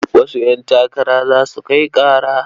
Wasu ƴantakara za su kai ƙara.